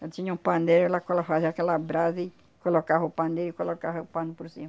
tinha um pandeiro, ela color fazia aquela brasa e colocava o pandeio e colocava o pano por cima.